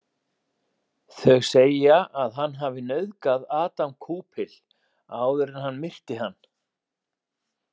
Þau segja að hann hafi nauðgað Adam Koupil áður en hann myrti hann.